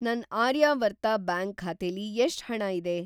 ನನ್‌ ಆರ್ಯಾವರ್ತ ಬ್ಯಾಂಕ್ ಖಾತೆಲಿ ಎಷ್ಟ್‌ ಹಣ ಇದೆ?